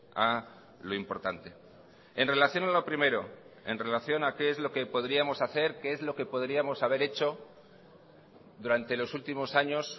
a lo importante en relación a lo primero en relación a qué es lo que podríamos hacer qué es lo que podríamos haber hecho durante los últimos años